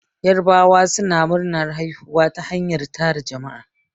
Yarabawa suna nuna murnar haihuwa ta hanyar tara jama'a